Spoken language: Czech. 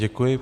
Děkuji.